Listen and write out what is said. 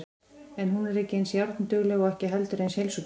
En hún er ekki eins járndugleg og ekki heldur eins heilsugóð.